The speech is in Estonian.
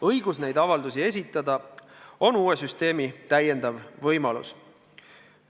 Õigus neid avaldusi esitada on uue süsteemi täiendav võimalus.